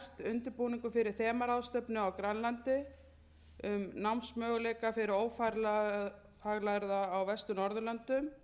undirbúningur fyrir þemaráðstefnu á grænlandi um námsmöguleika fyrir ófaglærða á vestur norðurlöndum